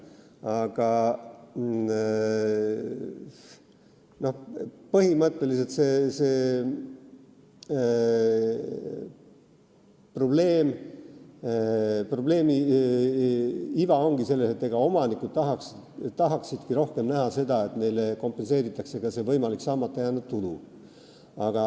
Aga põhimõtteliselt probleem või viga ongi selles, et omanikud tahaksid rohkem näha seda, et neile kompenseeritakse ka võimalik saamata jäänud tulu.